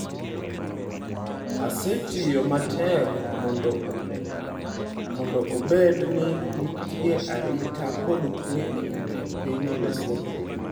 Asetiyo matek mondo obed ni nitie arita kod kwe e piny Lesotho.